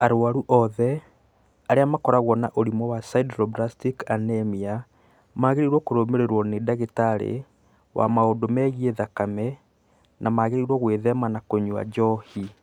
Arũaru othe arĩa makoragwo na ũrimũ wa sideroblastic anemia magĩrĩirũo kũrũmĩrĩrũo nĩ ndagĩtarĩ wa maũndũ megiĩ thakame na magĩrĩirũo gwĩthema kũnyua njohi.